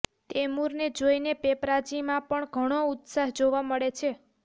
તૈમુરને જોઈને પેપરાજીમાં પણ ઘણો ઉત્સાહ જોવા મળે છે